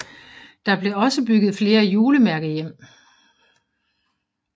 Der blev også bygget flere julemærkehjem